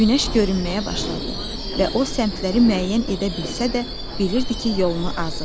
Günəş görünməyə başladı və o səmtləri müəyyən edə bilsə də, bilirdi ki, yolunu azıb.